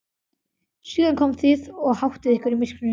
Síðan komið þið og háttið ykkur í myrkrinu.